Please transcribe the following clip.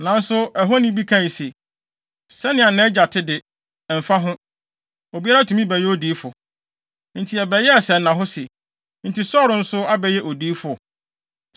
Nanso ɛhɔni bi kae se, “Sɛnea nʼagya te de, ɛmfa ho; obiara tumi bɛyɛ odiyifo.” Enti ɛbɛyɛɛ sɛnnahɔ se, “Enti Saulo nso abɛyɛ odiyifo?”